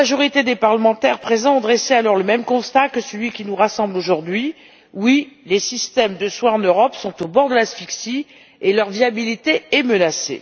La grande majorité des parlementaires présents a alors dressé le même constat que celui qui nous rassemble aujourd'hui, à savoir que les systèmes de soins en Europe sont au bord de l'asphyxie et que leur viabilité est menacée.